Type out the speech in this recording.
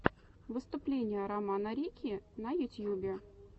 выступление рома рикки на ютьюбе